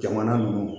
Jamana ninnu